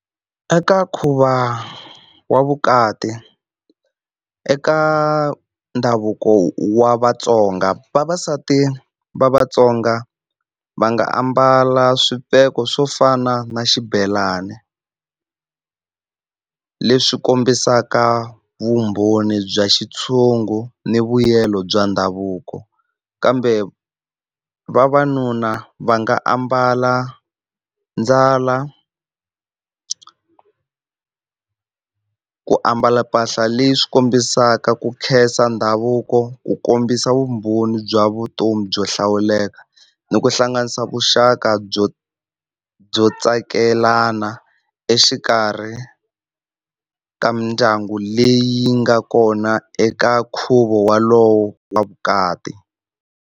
Eka nkhuvo wa vukati eka ndhavuko wa Vatsonga vavasati va Vatsonga va nga ambala swipheko swo fana na xibelani leswi kombisaka vumbhoni bya xitshungu ni vuyelo bya ndhavuko. Kambe vavanuna va nga ambala ndzalo ku ambala mpahla leyi swi kombisaka ku khensa ndhavuko ku kombisa vumbhoni bya vutomi byo hlawuleka, ni ku hlanganisa vuxaka byo byo tsakelana exikarhi ka mindyangu leyi nga kona eka nkhuvo wolowo wa vukati.